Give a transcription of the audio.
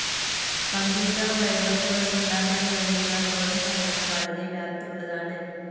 Computer വൈറസുകൾക്കുണ്ടാക്കാൻ കഴിയുന്ന ദോഷഫലങ്ങൾ വളരെ വ്യാപ്തിയുള്ളതാണ്.